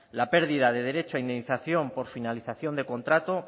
la pérdida del derecho a indemnización por finalización de contrato